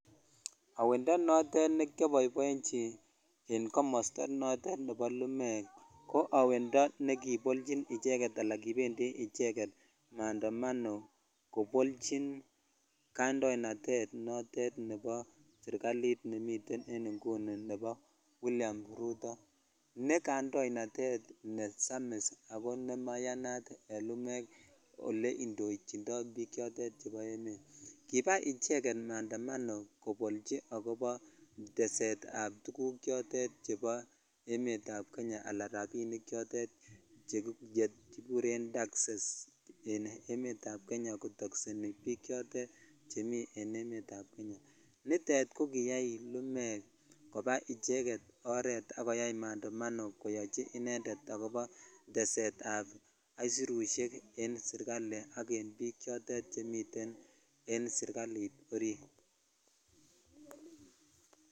Awebmndo notet nekiaboiboechi en komosto notet nebo lumeek ko awendo nekipolchin echeketala kipendi icheket mandamamo kopolchin kaindoinatet notet nemiten en inguni nebo William Ruth ne kaindoinatet ne samis ako nemaiyanat en lumeek ole indochitoi biik chotet chebo emet ab kibaa icheget mandamamo kobolchi teset ab tuguk chotetet chebo emet ab Kenya ala rabinik chotet chekikyren taxes en emet ab Kenya kotoshheni biik chotet chemi en emet ab Kenya chutet ko kiyai lumeek kobaa barabara koba koyai mandomano koyochi inended akobo teset ab aisirusek en sirkali ak en biik chotet chemiten en sirkalit orit.